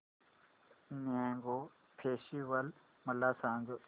mango festival मला सांग